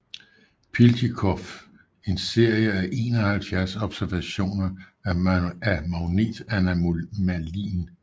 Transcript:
Piltjikov en serie af 71 observationer af magnetanomalien